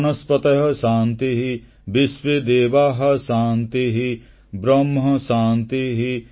ବନସ୍ପତୟଃ ଶାନ୍ତିଃ ବିଶ୍ୱେଦେବାଃ ଶାନ୍ତିଃ ବ୍ରହ୍ମ ଶାନ୍ତିଃ